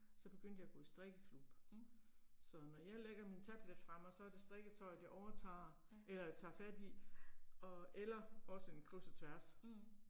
Så begyndte jeg at gå i strikkeklub. Så når jeg lægger min tablet fra mig, så er det strikketøjet jeg overtager, eller jeg tager fat i, og eller også en kryds og tværs